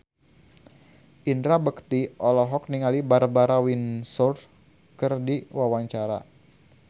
Indra Bekti olohok ningali Barbara Windsor keur diwawancara